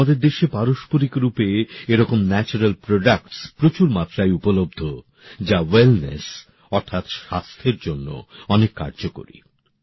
আমাদের দেশে পারম্পরিক রূপে এরকম প্রাকৃতিক সম্পদ প্রচুর মাত্রায় পাওয়া যায় যা ওয়েলনেস অর্থাৎ স্বাস্থ্যের জন্য অনেক কার্যকরী